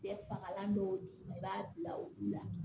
Cɛ fagalan dɔw di i b'a bila olu la